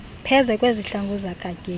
pheze kwezihlangu zikagatyeni